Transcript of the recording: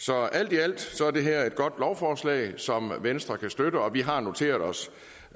så alt i alt er det her et godt lovforslag som venstre kan støtte og vi har noteret os